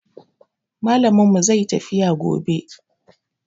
Malamin mu zai yi tafiya gobe